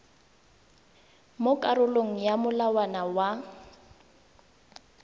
mo karolong ya molawana wa